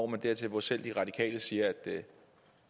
man dertil hvor selv de radikale siger at